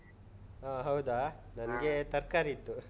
ಹಾ ಹೌದಾ. ನನ್ಗೆ ತರ್ಕಾರಿ ಇತ್ತು.